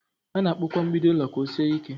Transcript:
A na-akpụ kwa mgbidi ụlọ ka ọ sie ike.